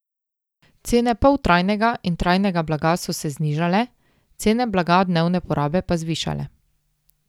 Cene poltrajnega in trajnega blaga so se znižale, cene blaga dnevne porabe pa zvišale.